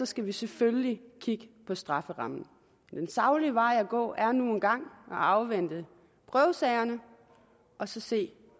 skal vi selvfølgelig kigge på strafferammen den saglige vej at gå er nu engang at afvente prøvesagerne og så se